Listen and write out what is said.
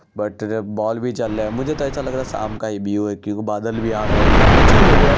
but बॉल भी जल रहा है | मुझे तो ऐसा लग रहा जैसे शाम का व्यूव है क्युकी बदल भी आ रहे हैं अच्छा लग रहा है|